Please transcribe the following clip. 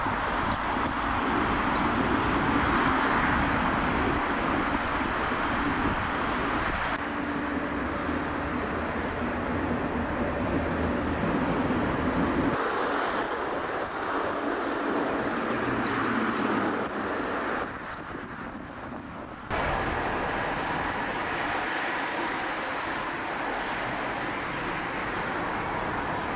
Sürücülər hərəkət iştirakçısı olduqları yollarda meteoroloji şəraiti nəzərə almalı, sürət həddinə əməl etməli, avtomobillər arasındakı məsafəni gözləməli, avtomobilin şüşə silənlərinin və işıq cihazlarının işlək vəziyyətdə olmasını təmin etməlidirlər.